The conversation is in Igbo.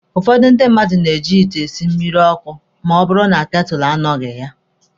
Ụfọdụ ndị mmadụ na-eji ite esi mmịrị ọkụ ma ọ bụrụ na ketụlụ anọghị.